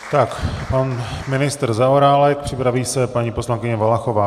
Tak pan ministr Zaorálek, připraví se paní poslankyně Valachová.